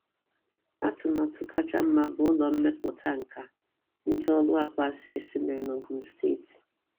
Atụmatụ kachasị mma bụ Ụlọ Mmepụta Nkà ndị ụlọ akụ Access mere n'Ogun steeti. mere n'Ogun steeti.